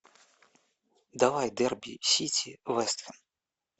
давай дерби сити вест хэм